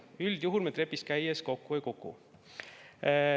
Üldjuhul me trepist käies kokku ei kuku.